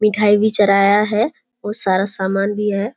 मिठाई भी चढ़ाया हुआ हैं बहुत सारा सामान भी है।